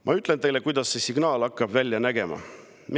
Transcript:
Ma ütlen teile, kuidas see signaal hakkab välja nägema.